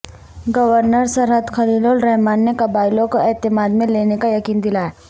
governor Sarhad Khalil ur Rahman نے قبائیلیوں کو اعتماد میں لینے کا یقین دلایا